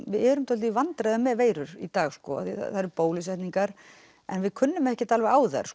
við erum dálítið í vandræðum með veirur í dag sko það eru bólusetningar en við kunnum ekkert alveg á þær